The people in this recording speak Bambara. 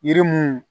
Yiri mun